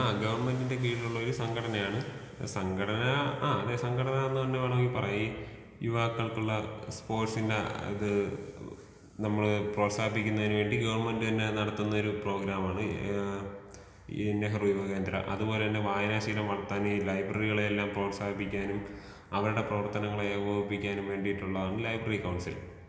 ആ ഗവൺമെന്റിന്റെ കീഴിലുള്ള ഒരു സംഘടനയാണ്. സംഘടന ആ അതെ സംഘടനാന്ന് തന്നെ വേണമെങ്കിൽ പറയാ യുവാക്കൾക്കുള്ള സ്പോർട്സിന്റെ ഇത് നമ്മൾ പ്രോത്സാഹിപ്പിക്കുന്നതിനു വേണ്ടി ഗവൺമെന്റ് തന്നെ നടത്തുന്ന ഒരു പ്രോഗ്രാമാണ് ഏഹ് ഈ നെഹ്റു യുവകേന്ദ്ര. അതുപോലെതന്നെ വായനാശീലം വളർത്താൻ ഈ ലൈബ്രറികളെ എല്ലാം പ്രോത്സാഹിപ്പിക്കാനും അവരുടെ പ്രവർത്തനങ്ങളെ ഏകോപിപ്പിക്കാനും വേണ്ടിയിട്ടുള്ളതാണ് ലൈബ്രറി കൗൺസിൽ.